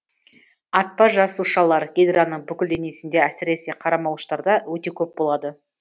атпа жасушалар гидраның бүкіл денесінде әсіресе қармалауыштарда өте көп болады